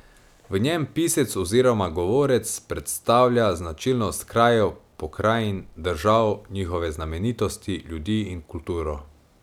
V njem pisec oziroma govorec predstavlja značilnosti krajev, pokrajin, držav, njihove znamenitosti, ljudi in kulturo.